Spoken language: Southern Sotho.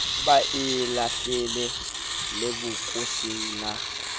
ba e lahlele lebokoseng la